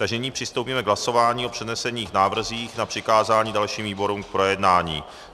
Takže nyní přistoupíme k hlasování o přednesených návrzích na přikázání dalším výborům k projednání.